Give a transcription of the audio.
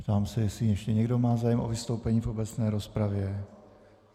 Ptám se, jestli ještě někdo má zájem o vystoupení v obecné rozpravě.